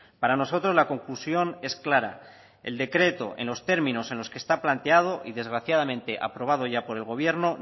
para nosotros la conclusión es clara el decreto en los términos en los que está planteado y desgraciadamente aprobado ya por el gobierno